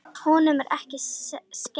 Honum er ekki skemmt.